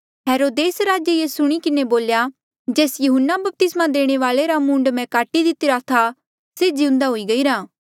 हेरोदेस राजे ये सुणी किन्हें बोल्या जेस यहून्ना बपतिस्मा देणे वाल्ऐ रा मूंड मैं काटी दितिरा था से जिउंदा हुई गईरा